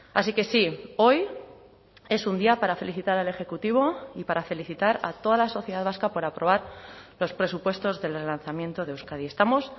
así que sí hoy es un día para felicitar al ejecutivo y para felicitar a toda la sociedad vasca por aprobar los presupuestos del relanzamiento de euskadi estamos